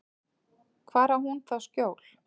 Hvar á hún þá skjól?